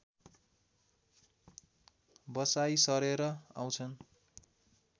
बसाइँ सरेर आउँछन्